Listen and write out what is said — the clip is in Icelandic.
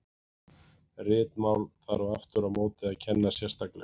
Ritmál þarf aftur á móti að kenna sérstaklega.